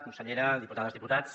consellera diputades diputats